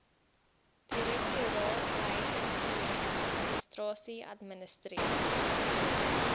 direktoraat behuisingsprojekadministrasie administreer